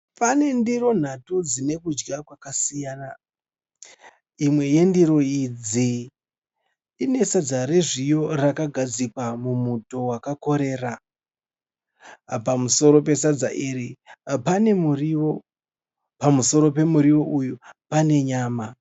Pane ndiro nhatu dzinekudya kwakasiyana. Imwe yendiro idzi inesadza rezviyo rakagadzikwa mumuto wakakorera. Pamusoro pesadza iri panemuriwo, pamusoro pemuriwo uyu panenyama.